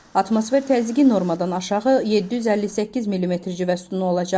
Atmosfer təzyiqi normadan aşağı 758 millimetr civə sütunu olacaq.